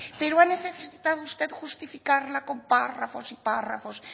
pero ha necesitado usted justificarla con párrafos y párrafos